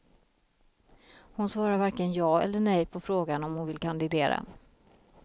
Hon svarar varken ja eller nej på frågan om hon vill kandidera.